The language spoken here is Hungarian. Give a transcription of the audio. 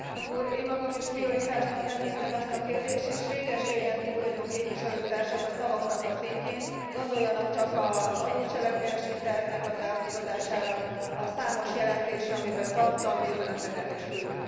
Én magam is prioritásnak tekintem ezt a kérdést, és réges régen túl vagyunk, képviselőtársak, a szavak szintjén, gondoljanak csak az adó cselekvésiterv elfogadására, a számos jelentésre, amelyben tartalmi üzeneteket is küldtünk.